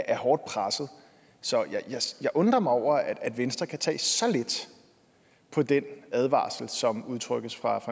er hårdt pressede så jeg undrer mig over at venstre kan tage så let på den advarsel som udtrykkes fra